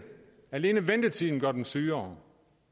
alene ventetiden gør dem sygere